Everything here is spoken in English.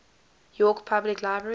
york public library